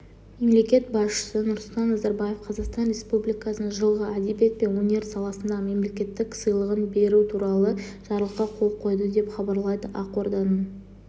мемлекет басшысы нұрсұлтан назарбаев қазақстан республикасының жылғы әдебиет пен өнер саласындағы мемлекеттік сыйлығын беру туралы жарлыққа қол қойды деп хабарлайды ақорданың